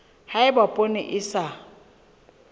ha eba poone e sa